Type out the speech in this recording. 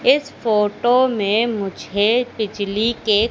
इस फोटो में मुझे बिजली के--